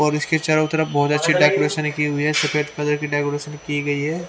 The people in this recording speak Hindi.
और इसके चारों तरफ बहुत अच्छी डेकोरेशन की हुई है सफेद कलर की डेकोरेशन की गई है।